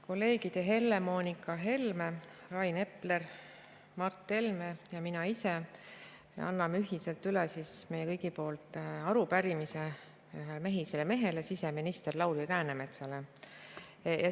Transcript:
Kolleegid Helle-Moonika Helme, Rain Epler, Mart Helme ja mina ise anname ühiselt meie kõigi poolt üle arupärimise ühele mehisele mehele, siseminister Lauri Läänemetsale.